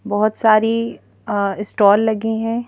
बहुत सारी अअ स्टॉल लगी हैं।